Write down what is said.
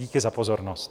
Díky za pozornost.